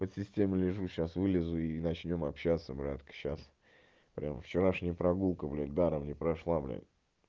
под системой лежу сейчас вылезу и начнём общаться братка сейчас прямо вчерашней прогулка бля даром не прошла бля